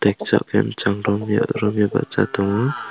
makchang penchang romio bachai tongo.